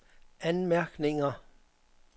anmærkninger